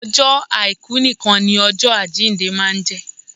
Ọjọ́ àìkú nìkan ni ọjọ àjíǹde máa ń jẹ́